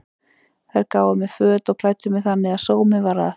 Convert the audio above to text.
Þær gáfu mér föt og klæddu mig þannig að sómi var að.